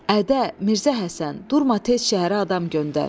Ədə, Mirzə Həsən, durma tez şəhərə adam göndər.